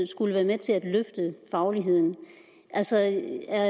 skulle være med til at løfte fagligheden altså er